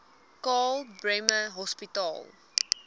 karl bremer hospitaal